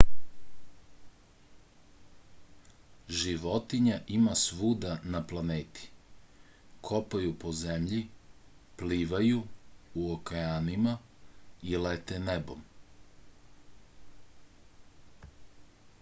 životinja ima svuda na planeti kopaju po zemlji plivaju u okeanima i lete nebom